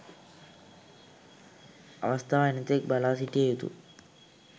අවස්ථාව එනතෙක් බලාසිටිය යුතු